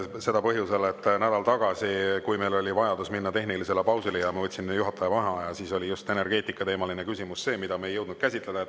Seda põhjusel, et nädal tagasi, kui meil oli vajadus minna tehnilisele pausile ja ma võtsin juhataja vaheaja, siis oli just energeetikateemaline küsimus see, mida me ei jõudnud käsitleda.